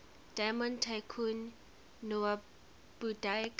diamond tycoon nwabudike